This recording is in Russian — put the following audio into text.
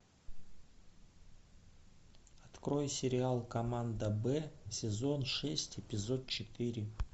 открой сериал команда б сезон шесть эпизод четыре